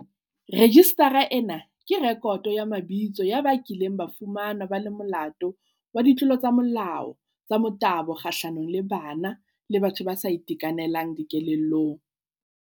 Rejistara ena ke rekoto ya mabitso ya ba kileng ba fumanwa ba le molato wa ditlolo tsa molao tsa motabo kgahlanong le bana le batho ba sa itekanelang dikelellong.